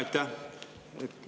Aitäh!